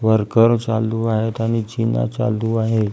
Worker चालू आहेत आणि जिना चालू आहे.